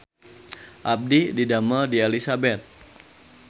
Abdi didamel di Elizabeth